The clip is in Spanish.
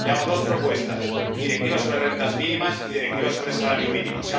Le hago dos propuestas una directiva sobre rentas mínimas y una directiva sobre salario mínimo.